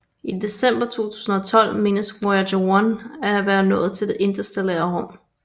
I december 2012 menes Voyager 1 at være nået det interstellare rum